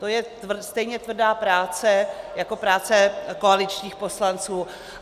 To je stejně tvrdá práce jako práce koaličních poslanců.